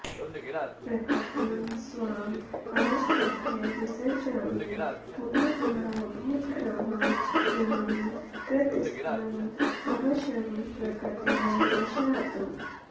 प्रकृतिं स्वाम् अवष्टभ्य विसृजामि पुनः पुनः भूतग्रामम् इमं कृत्स्नम् अवशं प्रकृतेः वशात्